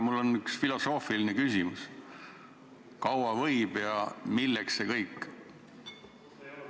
Mul on üks filosoofiline küsimus: kaua võib ja milleks see kõik?